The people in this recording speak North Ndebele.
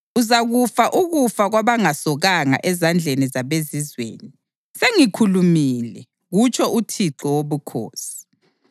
Uzakufa ukufa kwabangasokanga ezandleni zabezizweni. Sengikhulumile, kutsho uThixo Wobukhosi.’ ”